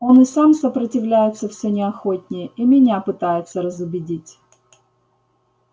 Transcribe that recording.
он и сам сопротивляется всё неохотнее и меня пытается разубедить